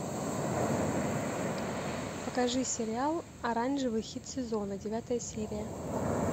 покажи сериал оранжевый хит сезона девятая серия